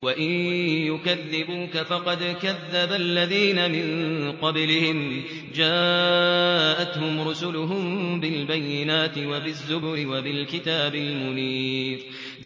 وَإِن يُكَذِّبُوكَ فَقَدْ كَذَّبَ الَّذِينَ مِن قَبْلِهِمْ جَاءَتْهُمْ رُسُلُهُم بِالْبَيِّنَاتِ وَبِالزُّبُرِ وَبِالْكِتَابِ الْمُنِيرِ